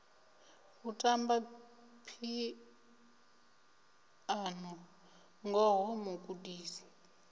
u tamba phiano ngoho mugudisi